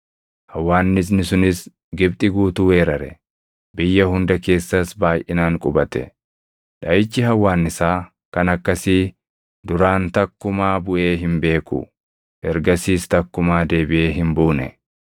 hawwaannisni sunis Gibxi guutuu weerare; biyya hunda keessas baayʼinaan qubate. Dhaʼichi hawwaannisaa kan akkasii duraan takkumaa buʼee hin beeku; ergasiis takkumaa deebiʼee hin buune.